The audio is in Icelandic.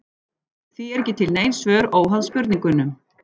Því eru ekki til nein svör óháð spurningunum.